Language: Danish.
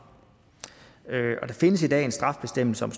der findes i dag en straffebestemmelse om